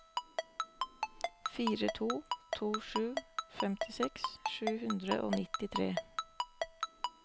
fire to to sju femtiseks sju hundre og nittitre